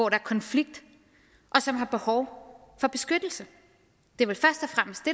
er konflikt og som har behov for beskyttelse det